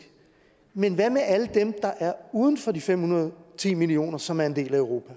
men hvad med alle dem der er uden for de fem hundrede og ti millioner som er en del af europa